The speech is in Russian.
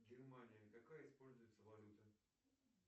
германия какая используется валюта